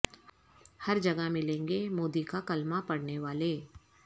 ہر جگہ ملیں گے مودی کا کلمہ پڑھنے والے